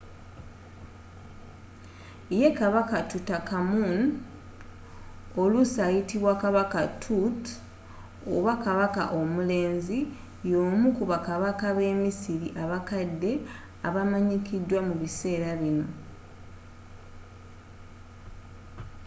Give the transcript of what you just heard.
yee! kabaka tutankhamun oluusi ayitibwa kabaka tut” oba kabaka omulenzi” y’omu ku bakabaka b’emisiri abakadde abamanyikidwa mu biseera binno